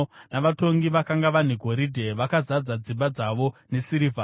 navatongi vakanga vane goridhe, vakazadza dzimba dzavo nesirivha.